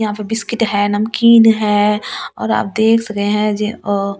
यहाँ पे बिस्किट है नमकीन है और आप देख सके है जे अ चाय पत्ती।